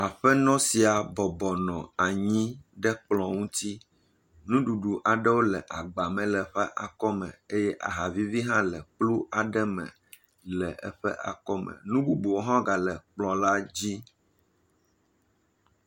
Amenɔ sia bɔbɔ nɔ anyi ɖe kplɔ̃ ŋuti. Nuɖuɖu aɖewo le agba me le eƒe akɔme eye aha vivi hã le kplu aɖe me le eƒe akɔme. Nu bubuwo hã gale kplɔ̃ la dzi.